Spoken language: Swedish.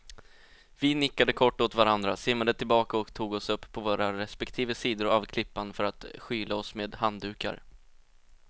Vi nickade kort åt varandra, simmade tillbaka och tog oss upp på våra respektive sidor av klippan för att skyla oss med handdukar.